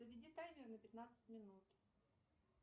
заведи таймер на пятнадцать минут